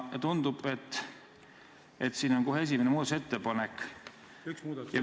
Tundub, et siin on kohe esimene muudatusettepanek.